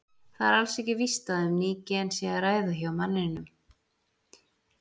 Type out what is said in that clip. Það er alls ekki víst að um ný gen sé að ræða hjá manninum.